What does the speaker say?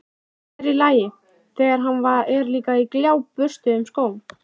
Sér í lagi, þegar hann er líka á gljáburstuðum skóm.